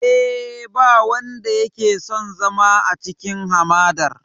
Eh, ba wanda yake son zama a cikin hamadar.